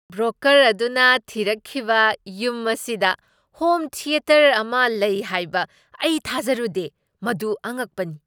Broker ꯑꯗꯨꯅ ꯊꯤꯔꯛꯈꯤꯕ ꯌꯨꯝ ꯑꯁꯤꯗ ꯍꯣꯝ ꯊꯤꯌꯦꯇꯔ ꯑꯃ ꯂꯩ ꯍꯥꯏꯕ ꯑꯩ ꯊꯥꯖꯔꯨꯗꯦ ꯫ꯃꯗꯨ ꯑꯉꯛꯄꯅꯤ!